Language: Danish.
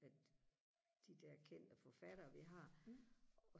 de der kendte forfattere vi har